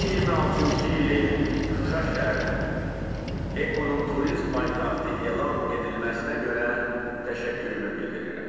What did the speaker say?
2026-cı ilin Şuşa şəhərinin EKO-nun turizm paytaxtı elan edilməsinə görə təşəkkürümü bildirirəm.